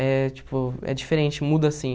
É, tipo, é diferente, muda, assim.